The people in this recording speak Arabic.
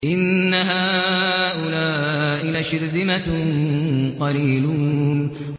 إِنَّ هَٰؤُلَاءِ لَشِرْذِمَةٌ قَلِيلُونَ